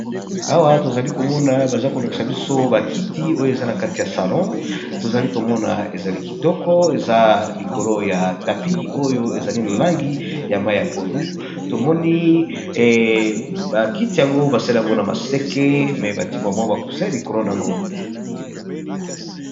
Awa tozali komona baza kolakisa biso ba kiti oyo eza na kati ya salon, tozali komona ezali kitoko eza likolo ya tapi oyo ezali na langi ya mayi ya pondu, tomoni ba kiti yango basali yango na maseke me bati ba mwa ba kusin likolo na yango.